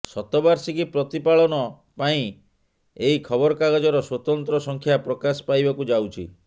ଶତବାର୍ଷିକୀ ପ୍ରତିପାଳନ ପାଇଁ ଏହି ଖବରକାଗଜର ସ୍ୱତନ୍ତ୍ର ସଂଖ୍ୟା ପ୍ରକାଶ ପାଇବାକୁ ଯାଉଛି